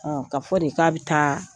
ka fɔ de k'a bi taa